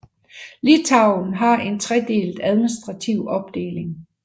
Litauen har en tredelt administrative opdeling